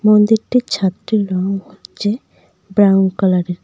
মন্দিরটির ছাদটির রং হচ্ছে ব্রাউন কালারের।